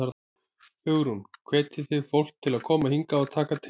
Hugrún: Hvetjið þið fólk til að koma hingað og taka til?